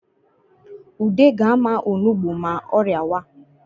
Ude ga-ama onugbu ma ọ rịawa